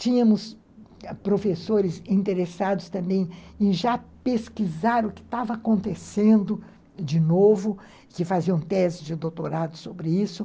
Tínhamos professores interessados também em já pesquisar o que estava acontecendo de novo, que faziam tese de doutorado sobre isso.